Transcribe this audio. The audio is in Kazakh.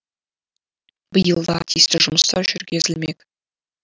биыл да тиісті жұмыстар жүргізілмек